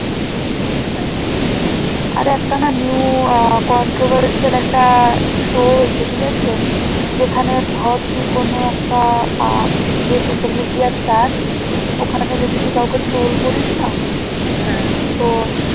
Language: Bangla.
আর একটা না new আহ controversial একটা show এসেছে ঠিক আছে যেখানে ধর তুই কোন একটা আহ যে social media star ওখানে তুই যদি কাউকে troll করিস না তো